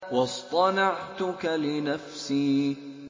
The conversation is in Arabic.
وَاصْطَنَعْتُكَ لِنَفْسِي